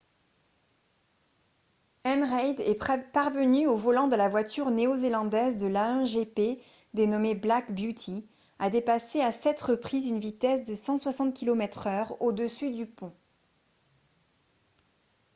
m. reid est parvenu au volant de la voiture néo-zélandaise de l'a1 gp dénommée black beauty à dépasser à 7 reprises une vitesse de 160 km/h au dessus du pont